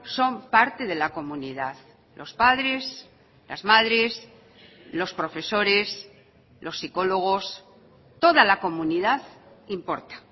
son parte de la comunidad los padres las madres los profesores los psicólogos toda la comunidad importa